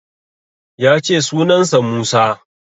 Ya ce sunan sa Musa